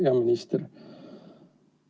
Hea minister!